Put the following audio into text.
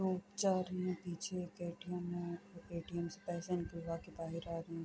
مے پیچھے ایک ے.ٹی.یم ہے۔ ے.ٹی.یم سے پیسا نکلوا کے بہار آ رہے ہے۔